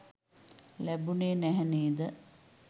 ලැබුණේ නැහැ නේද?